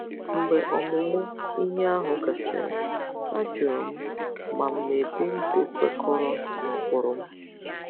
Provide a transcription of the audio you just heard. Mgbe ọmụmụ ihe ahụ gasịrị, ajụrụ m ma m na-ebi ndụ kwekọrọ n'ụkpụrụ m.